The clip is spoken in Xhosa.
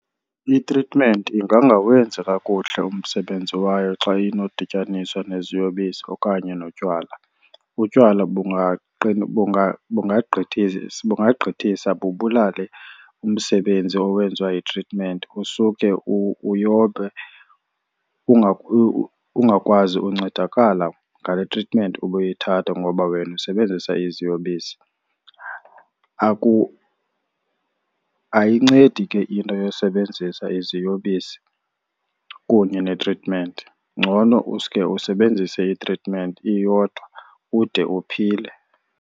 Itritmenti ingangawenzi kakuhle umsebenzi wayo xa inodityaniswa neziyobisi okanye notywala. Utywala bungagqithisa bubulale umsebenzi owenziwa yitritmenti, usuke uyobe, ungakwazi ukuncedakala ngale tritmenti ubuyithatha ngoba wena usebenzisa iziyobisi. Ayincedi ke into yosebenzisa iziyobisi kunye netritmenti, ngcono uske usebenzise itritmenti iyodwa ude uphile.